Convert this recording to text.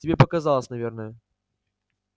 тебе показалось наверное